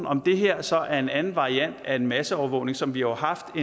om det her så er en anden variant af en masseovervågning som vi jo har haft